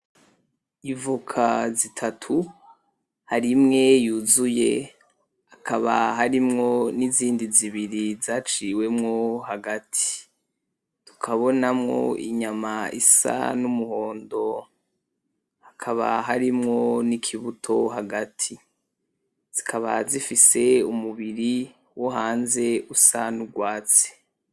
Ivoka zitatu ,hari imwe yuzuye hakaba harimwo n' izindi zibiri zaciwemwo hagati, tukabonamwo inyama isa n'umuhondo ,hakaba harimwo n'ikibuto hagati zikaba zifise umubiri wohanze usa nurwatsi.